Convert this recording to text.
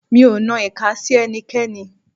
Mi ò nan ìka sí ẹnikẹ́ni.